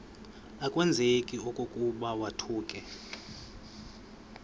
akwazeki okokuba kwakuthe